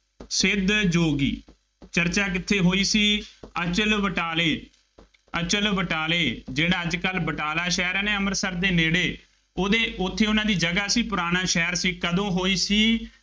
ਸਿੱਧ ਯੋਗੀ, ਚਰਚਾ ਕਿੱਥੇ ਹੋਈ ਸੀ, ਅਚਲਬਟਾਲੇ, ਅਚਲਬਟਾਲੇ ਜਿਹਵਾ ਅੱਜ ਕੱਲ੍ਹ ਬਟਾਲਾ ਸ਼ਹਿਰ ਹੈ ਨਾ ਅੰਮ੍ਰਿਤਸਰ ਦੇ ਨੇੜੇ, ਉਹਦੇ ਉੱਥੇ ਉਹਨਾ ਦੀ ਜਗ੍ਹਾ ਸੀ ਪੁਰਾਣਾ ਸ਼ਹਿਰ ਸੀ, ਕਦੋਂ ਹੋਈ ਸੀ,